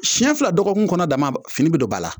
Siɲɛ fila dɔgɔkun kɔnɔ damaba fini bɛ don ba la